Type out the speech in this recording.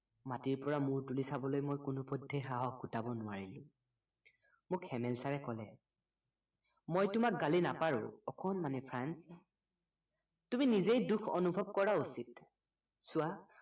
মাটিৰ পৰা মূৰ তুলি চাবলৈ মই কোনোপধ্য়েই সাহস গোটাব নোৱাৰিলো মোক হেমেল চাৰে কলে মই তোমাক গালি নাপাৰো অকণমানি তুমি নিজেই দুখ অনুভৱ কৰা উচিত চোৱা